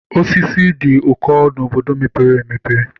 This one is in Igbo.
Osisi dị ụkọ n'obodo mepere emepe.